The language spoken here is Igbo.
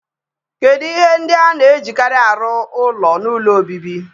Kedu ihe ndị a na-ejikarị arụ ụlọ n'ụlọ obibi?